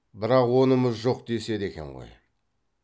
бірақ онымыз жоқ деседі екен ғой